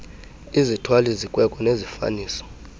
izithwali zikweko nezifaniso